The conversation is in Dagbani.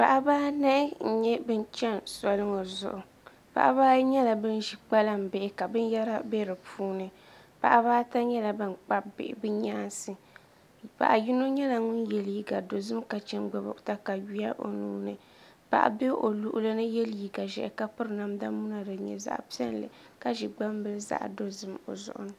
Paɣaba anahi n nyɛ bin chɛni soli ŋɔ zuɣu paɣaba ayi nyɛla bin ʒi kpalaŋ bihi ka binyɛra bɛ di puuni paɣaba ata nyɛla ban kpabi bihi bi nyaansi paɣa yino nyɛla ŋun yɛ liiga dozim ka chɛ n gbubi katawiya o nuuni paɣa bɛ o luɣuli ni yɛ liiga ʒiɛhi ka piri namdi muna din nyɛ zaɣ piɛlli ka ʒi gbambili zaɣ dozim o zuɣu ni